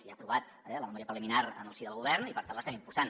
ja ha aprovat la memòria preliminar en el si del govern i per tant l’estem impulsant